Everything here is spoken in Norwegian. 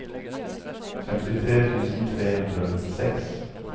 femtitre tusen tre hundre og nittiseks